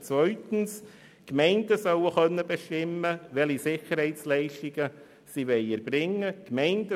Zweitens: Die Gemeinden sollen bestimmen können, welche Sicherheitsleistungen sie erbringen wollen.